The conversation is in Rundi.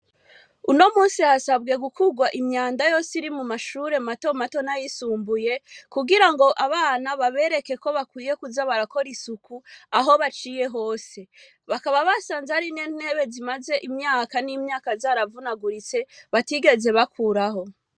Uno munsi hasabwe gukurwa imyanda yose mu mashure mato mato n'ayisumbuye , kugira ngo abana babereke ko bakwiye kuza barakora isuku aho baciye hose. Bakaba basanze harimwo intebe zimyaze imyaka zaravunaguritse, batigeze bakuraho.